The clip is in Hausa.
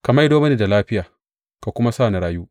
Ka maido mini da lafiya ka kuma sa na rayu.